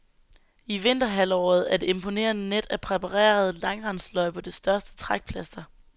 I vinterhalvåret er det imponerende net af præparerede langrendsløjper det største trækplaster.